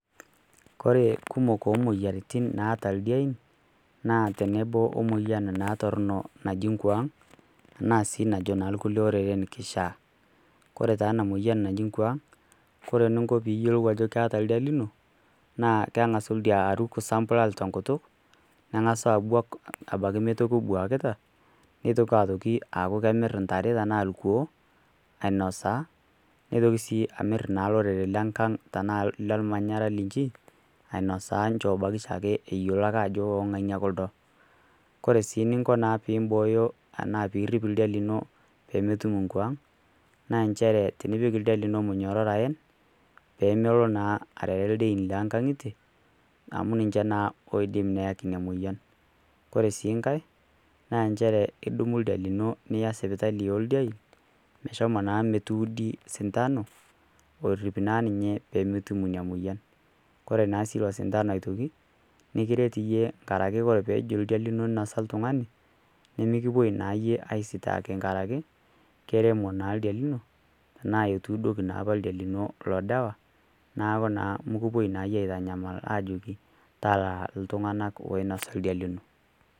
Kore kumok moyiantin naata ldiain naa tenebo omoyian naa torno naji ng'wang tanasi najo kule oreren kichaa ,Kore taa anamoyian naji ng'wang kore ninko piyelou ajo keeta ldia lino naa kengasu ldia aruk sambulal tenkutuk nengasu abuak abaki meitoki ebuakita netoki atoki aku kemir ntare tana lkuo ainosaa neitoki sii amiraa lorere leng'ang tana lelmanyara linchi ainosaa nchobaki eyelo abaki ajo ongania kuldo, Kore sii ninko piimboyo tana pirip ldia lino pemetum ng'wang naa nchere piipik ldia lino munyororo ayen pemelo naa arere ldein leng'ang'ite amu ninche naa oidim neyeki nia moyan Kore si nkae naa enchere idumu ldia lino niya sipitali oldein meshomo naa metudi sithano orip naa ninye pemetum nia moyian kore naasi ilo sithano aitoki nikiret yiie araki kore pejo ldia lino nosa ltungani nimikupoi naa yie asitaki nkaraki keremo naa ldia lino tana itudoki naa ldia lino ilo ldawa naaku naa mikipoi naayie aitanyamal ajoki talaa ltunganak loinosa ldia lino.